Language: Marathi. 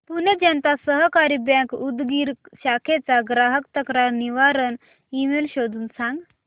पुणे जनता सहकारी बँक उदगीर शाखेचा ग्राहक तक्रार निवारण ईमेल शोधून सांग